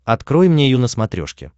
открой мне ю на смотрешке